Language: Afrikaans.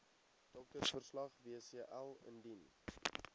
doktersverslag wcl indien